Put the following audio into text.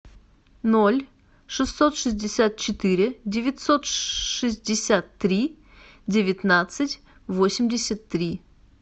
ноль шестьсот шестьдесят четыре девятьсот шестьдесят три девятнадцать восемьдесят три